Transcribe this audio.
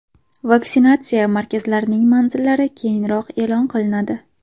Vaksinatsiya markazlarining manzillari keyinroq e’lon qilinadi.